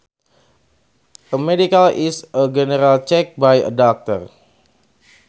A medical is a general check by a doctor